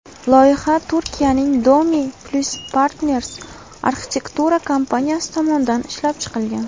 Loyiha Turkiyaning Dome+Partners arxitektura kompaniyasi tomonidan ishlab chiqilgan.